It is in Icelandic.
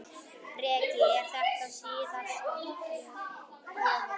Breki: Er þetta síðasta gjöfin?